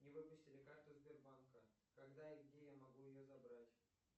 мне выпустили карту сбербанка когда и где я могу ее забрать